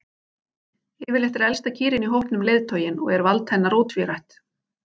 Yfirleitt er elsta kýrin í hópnum leiðtoginn og er vald hennar ótvírætt.